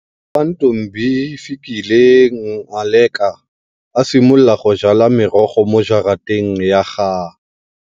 Fa Ntombifikile Ngaleka a simolola go jala merogo mo jarateng ya ga-